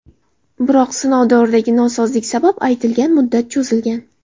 Biroq sinov davridagi nosozlik sabab aytilgan muddat cho‘zilgan.